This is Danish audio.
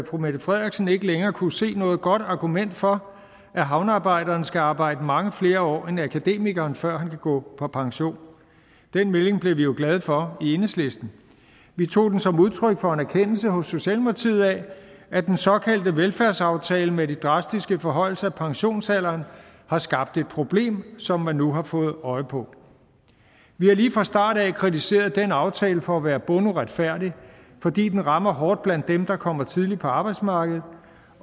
fru mette frederiksen ikke længere kunne se noget godt argument for at havnearbejderen skal arbejde mange flere år end akademikeren før han kan gå på pension den melding blev vi jo glade for i enhedslisten vi tog den som udtryk for en erkendelse hos socialdemokratiet af at den såkaldte velfærdsaftale med de drastiske forhøjelser af pensionsalderen har skabt et problem som man nu har fået øje på vi har lige fra start kritiseret den aftale for at være bunduretfærdig fordi den rammer hårdt blandt dem der kommer tidligt på arbejdsmarkedet